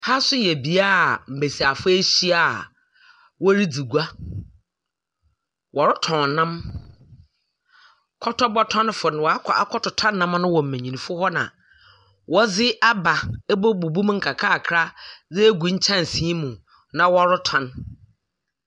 Aha nso yɛ beaeɛ a mbesiafoɔ ehyia a wɔredzi gua. Wɔretɔn nnam Kɔtɔr bɔtɔnfo no wɔakɔ akɔtotɔ nnam no wɔ mmmenyinfo no na wɔdze aba abɛbubu mu nkakrankakra dze agu nkyɛnse mu na wɔretɔn.